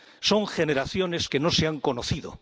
son generaciones que no se han conocido